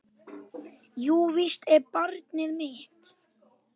Jú, víst er barnið mitt.